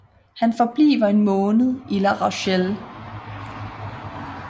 Han forbliver en måned i La Rochelle